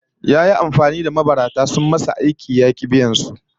Yayi amfani da mabarata sun masa aiki ya ki biyan su